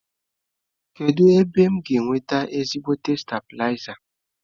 Kedụ ebee m ga enweta ezigbote stabịlaza?